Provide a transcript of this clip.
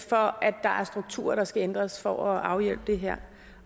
for at der er strukturer der skal ændres for at afhjælpe det her